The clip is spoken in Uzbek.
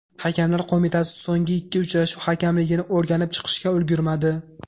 Hakamlar Qo‘mitasi so‘nggi ikki uchrashuv hakamligini o‘rganib chiqishga ulgurmadi.